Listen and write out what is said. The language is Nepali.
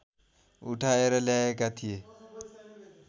उठाएर ल्याएका थिए